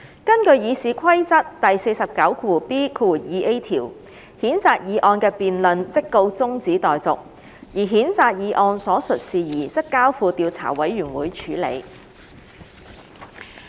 根據《議事規則》第 49B 條，譴責議案的辯論即告中止待續，而譴責議案所述事宜則交付調査委員會處理。